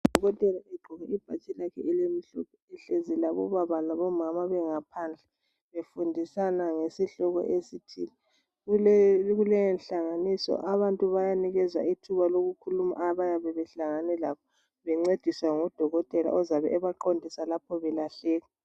Udokotela egqoke ibhatshi lakhe elimhlophe .Ehlezi labobaba labomama bengaphandle befundisana ngesihloko esithile .Kuleyonhlanganiso abantu bayanikezwa ithuba lokukhuluma abayabe behlangane lakho bencediswa ngudokotela ozabe ebaqondisa lapho belahleka .